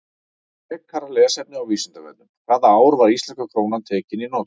Frekara lesefni á Vísindavefnum: Hvaða ár var íslenska krónan tekin í notkun?